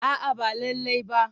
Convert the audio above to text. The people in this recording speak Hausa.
A'a ba lallai ba.